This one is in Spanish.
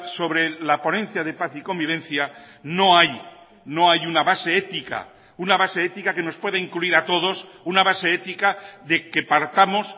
sobre la ponencia de paz y convivencia no hay no hay una base ética una base ética que nos puede incluir a todos una base ética de que partamos